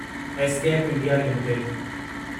SKF India limited